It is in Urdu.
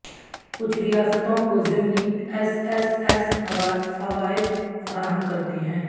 کچھ ریاستوں کو ضمنی ایس ایس ایس فوائد فراہم کرتی ہیں